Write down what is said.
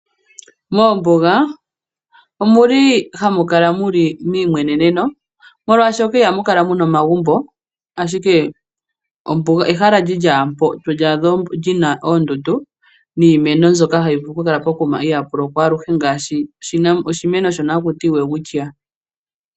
Moombuga omuli hamu kala muli meyimweneneno molwashoka ihamu kala muna omagumbo, ashike ombuga ehala lyili mpoka to adhamo oondundu niimeno mbyono hayi vulu oku kala pokuma ihapu lokwa aluhe ngaashi oshimeno shono hakutiwa o Welwitchia.